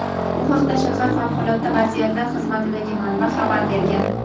Bu haqda shahar favqulodda vaziyatlar xizmatidagi manba xabar bergan.